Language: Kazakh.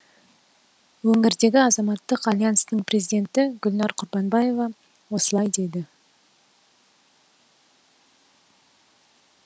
өңірдегі азаматтық альянстың президенті гүлнар құрбанбаева осылай дейді